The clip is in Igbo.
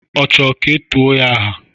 Ọ chọrọ ka e tuo ya aha?